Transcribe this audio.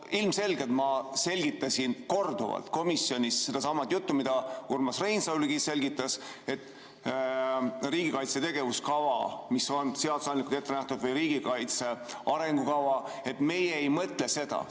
No ilmselgelt ma korduvalt komisjonis sedasama juttu, mida Urmas Reinsalugi selgitas, et riigikaitse tegevuskava, mis on seadusandlikult ette nähtud, või riigikaitse arengukava, et meie ei mõtle seda.